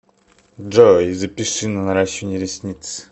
джой запиши на наращивание ресниц